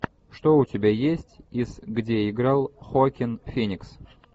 что у тебя есть из где играл хоакин феникс